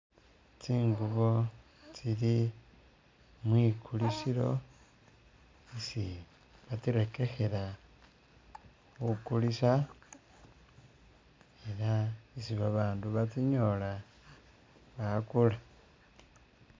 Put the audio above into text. Tsinguubo tsili mwikulisilo isi batsirekekhela khakulisa ela isi babandu batsinyola bakuula.